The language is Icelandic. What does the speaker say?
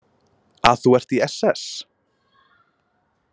Að þú ert í SS?